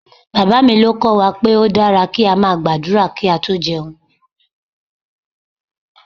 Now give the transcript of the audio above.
Bàbá mi ló kọ́ wa pé ó dára kí a máa gbàdúrà kí a tó jẹun